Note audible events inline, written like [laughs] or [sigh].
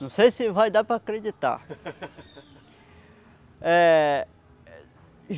Não sei se vai dar para acreditar. [laughs] É